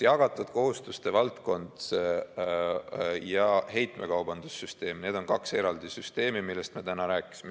Jagatud kohustuste valdkond ja heitmekaubanduse süsteem, need on kaks eraldi süsteemi, millest me täna rääkisime.